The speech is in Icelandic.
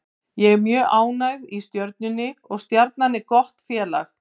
Ég er mjög ánægð í Stjörnunni og Stjarnan er gott félag.